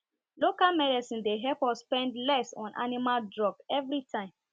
local medicine dey help us spend less on animal drug every time